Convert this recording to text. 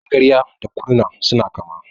Magarya da Kurna suna kama.